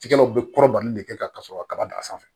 Tigɛw bɛ kɔrɔbali de kɛ ka sɔrɔ kaba dan sanfɛ